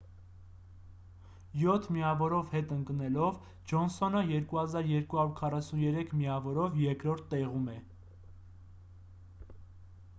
յոթ միավորով հետ ընկնելով ջոնսոնը 2 243 միավորով երկրորդ տեղում է